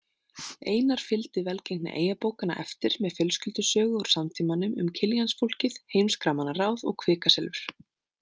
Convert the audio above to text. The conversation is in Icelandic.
Einar fylgdi velgengni „eyjabókanna“ eftir með fjölskyldusögu úr samtímanum um Killiansfólkið, „Heimskra manna ráð“ og „Kvikasilfur“.